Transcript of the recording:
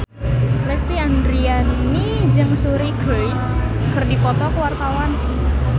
Lesti Andryani jeung Suri Cruise keur dipoto ku wartawan